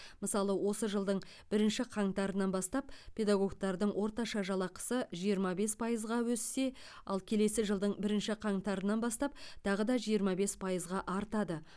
мысалы осы жылдың бірінші қаңтарынан бастап педагогтардың орташа жалақысы жиырма бес пайызға өссе ал келесі жылдың бірінші қаңтарынан бастап тағы жиырма бес пайызға артады